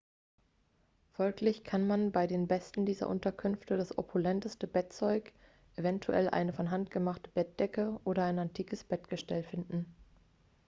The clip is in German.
folglich kann man bei den besten dieser unterkünfte das opulenteste bettzeug eventuell eine von hand gemachte bettdecke oder ein antikes bettgestell finden